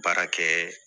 Baara kɛɛ